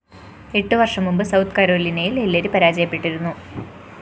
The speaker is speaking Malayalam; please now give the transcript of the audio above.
എട്ടു വര്‍ഷം മുമ്പ് സൌത്ത്‌ കരോലിനയില്‍ ഹില്ലരി പരാജയപ്പെട്ടിരുന്നു